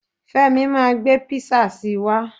Femi ma gbé písà si wá.